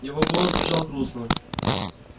его голос звучал грустно